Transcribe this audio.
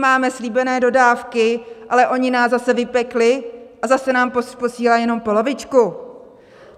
Máme slíbené dodávky, ale oni nás zase vypekli a zase nám posílají jenom polovičku?!